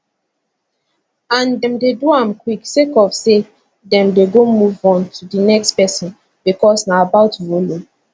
and dem dey do am quick sake of say den dem go move on to di next pesin becos na about volume